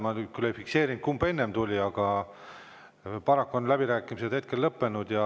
Ma küll ei fikseerinud, kumb enne tuli, aga paraku on läbirääkimised lõppenud.